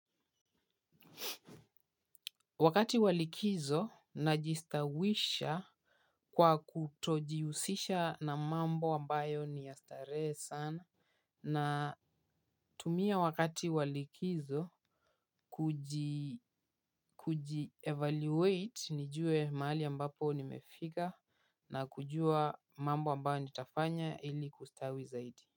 Wakati wa likizo najistawisha kwa kutojihusisha na mambo ambayo ni ya starehe sana. Natumia wakati wa likizo kujievaluate nijue mahali ambapo nimefika na kujua mambo mbayo nitafanya ili kustawi zaidi.